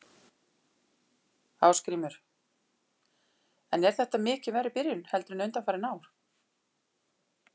Ásgrímur: En er þetta mikið verri byrjun heldur en undanfarin ár?